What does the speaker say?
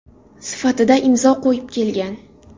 sifatida imzo qo‘yib kelgan.